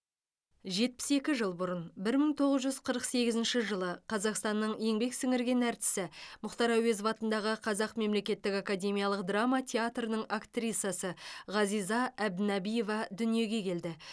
жетпіс екі жыл бұрын бір мың тоғыз жүз қырық сегізінші жылы қазақстанның еңбек сіңірген әртісі мұхтар әуезов атындағы қазақ мемлекеттік академиялық драма театрының актрисасы ғазиза әбдінәбиева дүниеге келді